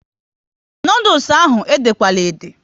Noodules ahụ ede kwana ede!